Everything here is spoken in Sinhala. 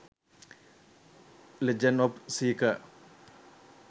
legend of seeker